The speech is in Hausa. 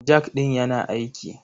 Jak ɗin yana aiki.